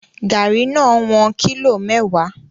Garri no won kilo mewa